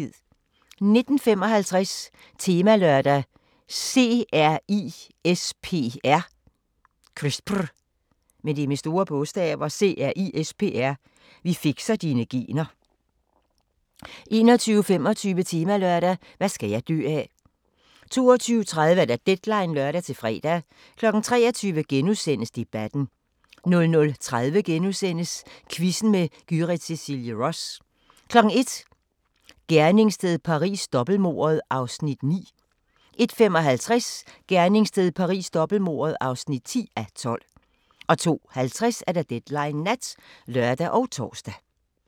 19:55: Temalørdag: CRISPR – vi fikser dine gener 21:25: Temalørdag: Hvad skal jeg dø af? 22:30: Deadline (lør-fre) 23:00: Debatten * 00:30: Quizzen med Gyrith Cecilie Ross * 01:00: Gerningssted Paris: Dobbeltmordet (9:12) 01:55: Gerningssted Paris: Dobbeltmordet (10:12) 02:50: Deadline Nat (lør og tor)